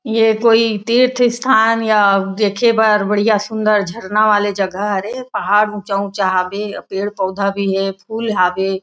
ये कोई तीर्थ स्थान या देखे बार बढ़िया सुन्दर झरना वाले जगह हरे ए पहाड़ ऊंचा - ऊंचा हबे पेड़-पौधा भी हे फूल हबे।